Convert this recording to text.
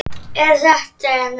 Elsku fallega vinkona mín.